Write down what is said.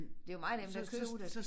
Det jo meget nemt at købe det